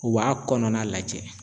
U b'a kɔnɔna lajɛ